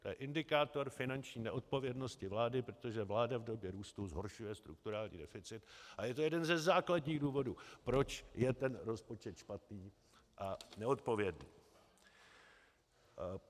To je indikátor finanční neodpovědnosti vlády, protože vláda v době růstu zhoršuje strukturální deficit, a je to jeden ze základních důvodů, proč je ten rozpočet špatný a neodpovědný.